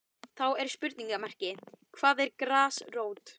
Þá er spurningamerki hvað er grasrót?